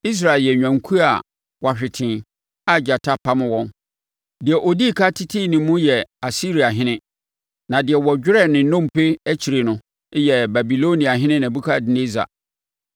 “Israel yɛ nnwankuo a wɔahwete a agyata apam wɔn. Deɛ ɔdii ɛkan tetee ne mu yɛ Asiriahene; na deɛ ɔdwerɛɛ ne nnompe akyire no yɛ Babiloniahene Nebukadnessar.”